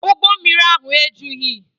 Ụgbọ mmiri ahụ ejughị